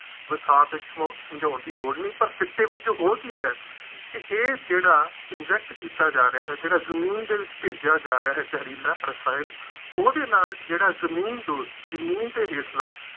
ਕੋਈ ਖਾਸ ਇਸਨੂੰ ਸਮਝਾਉਣ ਦੀ ਲੋੜ ਨਹੀਂ, ਪਰ ਸਿੱਟੇ ਵਜੋਂ ਹੋ ਕੀ ਰਿਹਾ ਕਿ ਇਹ ਜਿਹੜਾ inject ਕੀਤਾ ਜਾ ਰਿਹਾ ਹੈ, ਜਿਹੜਾ ਜ਼ਮੀਨ ਦੇ ਵਿੱਚ ਭੇਜਿਆ ਜਾ ਰਿਹਾ ਹੈ, ਜ਼ਹਿਰੀਲਾ ਰਸਾਇਣ, ਉਹਦੇ ਨਾਲ ਜਿਹੜਾ ਜ਼ਮੀਨਦੋਜ਼ ਜ਼ਮੀਨ ਦੇ ਹੇਠਲਾਂ